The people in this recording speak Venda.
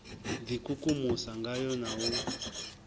d ikukumusa ngayo na u